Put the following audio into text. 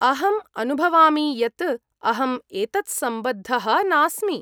अहम् अनुभवामि यत् अहम् एतत्सम्बद्धः नास्मि।